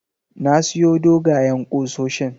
Na siyo dogayen kusoshin